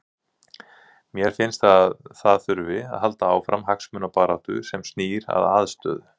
Mér finnst að það þurfi að halda áfram hagsmunabaráttu sem snýr að aðstöðu.